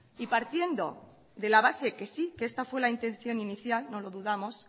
y partiendo de la base que sí que esta fue la intención inicial no lo dudamos